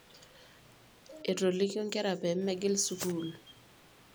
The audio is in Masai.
etolikio ikera pee megil skul